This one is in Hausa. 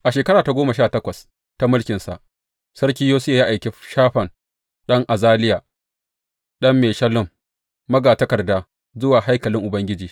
A shekara ta goma sha takwas ta mulkinsa, Sarki Yosiya ya aiki Shafan ɗan Azaliya, ɗan Meshullam, magatakarda, zuwa haikalin Ubangiji.